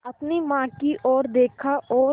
अपनी माँ की ओर देखा और